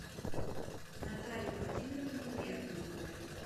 наталье владимировне бердниковой